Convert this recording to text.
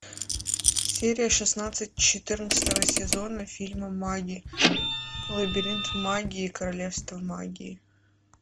серия шестнадцать четырнадцатого сезона фильма маги лабиринт магии королевство магии